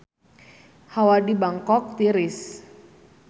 Hawa di Bangkok tiris